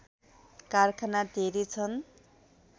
कारखाना धेरै छन्